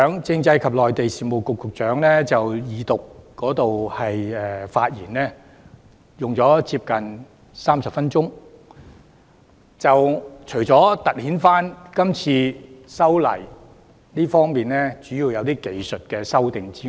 政制及內地事務局局長剛才就二讀辯論發言，花了近30分鐘，主要是闡釋這次修例屬技術修訂。